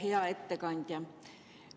Hea ettekandja!